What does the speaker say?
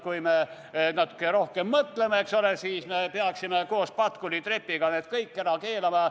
Kui me natuke rohkem mõtleme, eks ole, siis me peaksime koos Patkuli trepiga need kõik ära keelama.